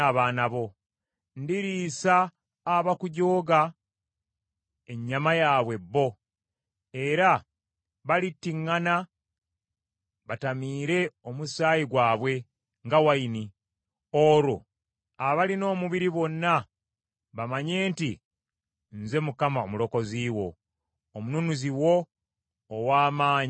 Ndiriisa abakujooga ennyama yaabwe bo. Era balittiŋŋana batamiire omusaayi gwabwe, nga wayini. Olwo abalina omubiri bonna bamanye nti nze Mukama Omulokozi wo, Omununuzi wo, ow’Amaanyi owa Yakobo.”